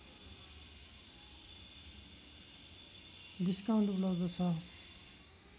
discount उपलब्ध छ